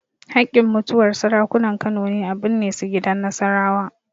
Haƙƙin mutuwar Sarakunan Kano ne a binne su gidan Nasarawa.